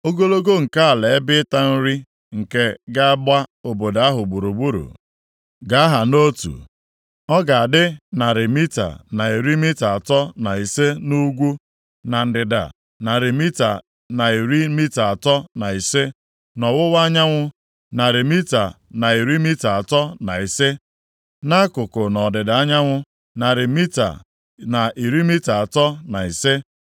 Ogologo nke ala ebe ịta nri nke ga-agba obodo ahụ gburugburu ga-aha nʼotu. Ọ ga-adị narị mita na iri mita atọ na ise nʼugwu, na ndịda narị mita na iri mita atọ na ise, nʼọwụwa anyanwụ narị mita na iri mita atọ na ise, nʼakụkụ nʼọdịda anyanwụ narị mita na iri mita atọ na ise.